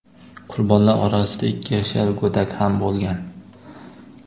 Qurbonlar orasida ikki yashar go‘dak ham bo‘lgan.